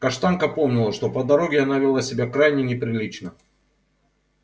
каштанка помнила что по дороге она вела себя крайне неприлично